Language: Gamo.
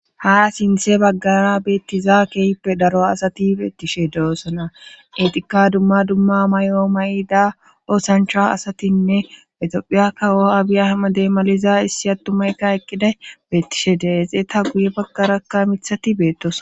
ha sinthe baggara beettiza keeyippe daro asati beettishe doossona etika dumma dumma may7o may7ida osanchra asatinne exophiya kawo abiyahama deemaliza issi attumaykka eqqida beettishe deexeeta guye baggarakka mithati beettos